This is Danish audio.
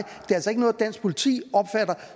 altså ikke noget dansk politi opfatter